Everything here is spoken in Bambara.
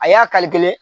A y'a kari kelen